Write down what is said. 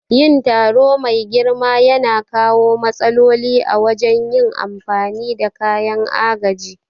Yin taro mai girma yana kawo matsaloli a wajen yin amfani da kayan agaji.